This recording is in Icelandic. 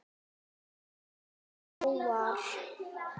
Afar fáar.